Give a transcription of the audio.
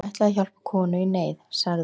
Hún ætlaði að hjálpa konu í neyð, sagði